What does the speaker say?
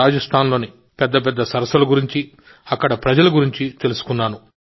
రాజస్థాన్లోని పెద్ద సరస్సుల గురించి అక్కడి ప్రజల గురించి తెలుసుకున్నాను